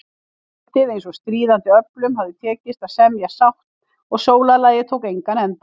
Kvöldið eins og stríðandi öflum hefði tekist að semja sátt og sólarlagið tók engan enda.